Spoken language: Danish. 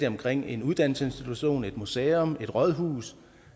omkring en uddannelsesinstitution et museum et rådhus